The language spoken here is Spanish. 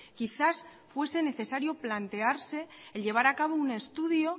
quizás fuese necesario plantearse el llevar a cabo un estudio